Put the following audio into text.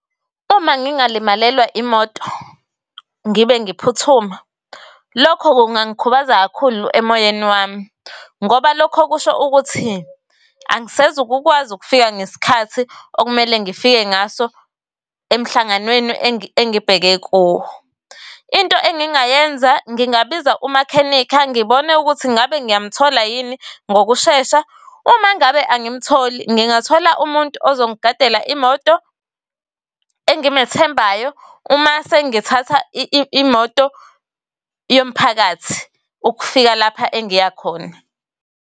Uma ngingalimalelwa imoto ngibe ngiphuthuma lokho kungangikhubaza kakhulu emoyeni wami ngoba lokho kusho ukuthi angisezukukwazi ukufika ngesikhathi okumele ngifike ngaso emhlanganweni engibheke kuwo. Into engingayenza ngingabiza umakhenikha ngibone ukuthi ngabe ng'yamthola yini ngokushesha. Uma ngabe angimtholi, ngingathola umuntu ozongigadela imoto engimethembayo uma sengithatha imoto yomphakathi. Ukufika lapha engiya khona.